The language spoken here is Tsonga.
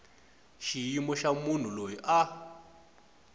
xiyimo xa munhu loyi a